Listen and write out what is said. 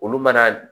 Olu mana